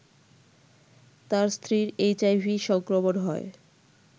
তার স্ত্রীর এইচআইভি সংক্রমণ হয়